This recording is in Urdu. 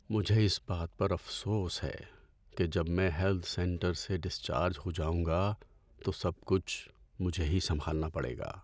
مجھے اس بات پر افسوس ہے کہ جب میں ہیلتھ سینٹر سے ڈسچارج ہو جاؤں گا تو سب کچھ مجھے ہی سنبھالنا پڑے گا۔